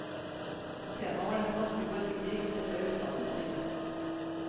Temaet var den spanske borgerkrig sett fra utlandets side.